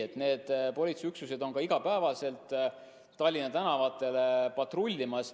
Ei, need politseiüksused on iga päev Tallinna tänavatel patrullimas.